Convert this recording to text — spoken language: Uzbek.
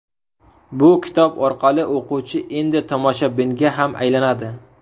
Bu kitob orqali o‘quvchi endi tomoshabinga ham aylanadi.